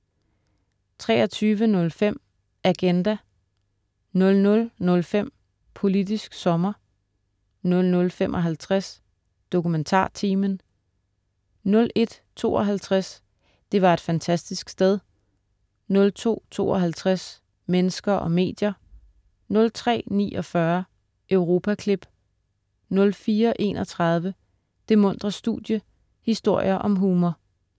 23.05 Agenda* 00.05 Politisk sommer* 00.55 DokumentarTimen* 01.52 Det var et fantastisk sted* 02.52 Mennesker og medier* 03.49 Europaklip* 04.31 Det muntre studie, historier om humor*